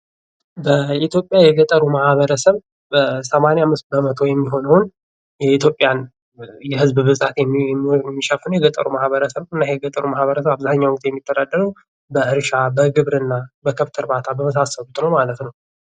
የኢትዮጵያ የገጠሩ ማህበረሰብ ሰማንያ አምስት በመቶ የሚሆነውን የኢትዮጵያ የህዝብ ብዛት የሚሸፍነው የገጠሩ ማህበረሰብ ነው እና ይሄ የገጠሩ ማህበረሰብ አብዛኛውን ጊዜ የሚተዳደሩ በእርሻ ፣ በግብርና በከብት እርባታ በመሳሰሉት ነው ማለት ነው ።